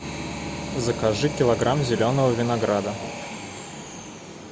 закажи килограмм зеленого винограда